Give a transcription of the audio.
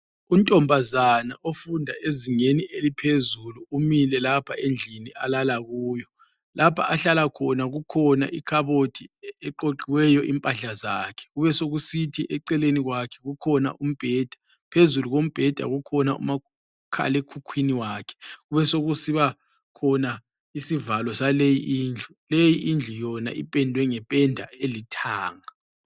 Untombazana ofunda ezingeni eliphezulu umile lapha endlini alala kuyo, lapho ahlala khona kukhona ikhabothi egoqiweyo impahla zakhe, Kubesokusithi eceleni kwakhe kukhona umbheda, phezulu kombheda kukhona umakhala ekhukhwini wakhe kube sokusiba khona isivalo sale indlu leyi indlu yona ipendwe ngependa elithanga.